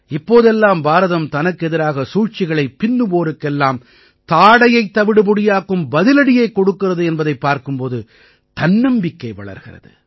இப்போதெல்லாம் பாரதம் தனக்கெதிராக சூழ்ச்சிகளைப் பின்னுவோருக்கெல்லாம் தாடையைத் தவிடுபொடியாக்கும் பதிலடியைக் கொடுக்கிறது என்பதைப் பார்க்கும் போது தன்னம்பிக்கை வளர்கிறது